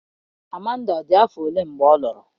Amanda dị afọ ole mgbe ọ lụrụ?